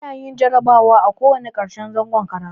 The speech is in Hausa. A na yin jarabawa a ko wanna karshen zangon karatu